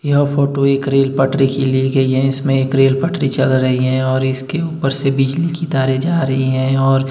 यह फोटो एक रेल पटरी की ली गई है इसमें एक रेल पटरी चल रही हैं और इसके ऊपर से बिजली कि तारें जा रही है और--